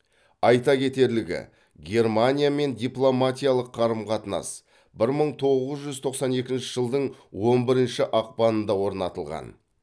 айта кетерлігі германиямен дипломатиялық қарым қатынас бір мың тоғыз жүз тоқсан екінші жылдың он бірінші ақпанында орнатылған